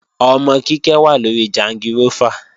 Ọmọ Kíkẹ́ wà lóri jangirófà